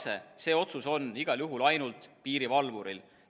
See otsus on igal juhul ainult piirivalvuril.